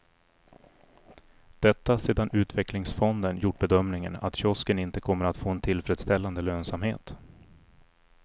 Detta sedan utvecklingsfonden gjort bedömningen att kiosken inte kommer att få en tillfredsställande lönsamhet.